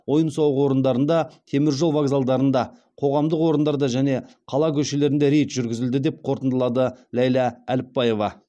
ойын сауық орындарында теміржол вокзалдарында қоғамдық орындарда және қала көшелерінде рейд жүргізілді деп қортындылады ләйлә әліпбаева